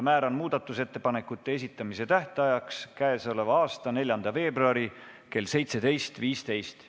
Määran muudatusettepanekute esitamise tähtajaks k.a 4. veebruari kell 17.15.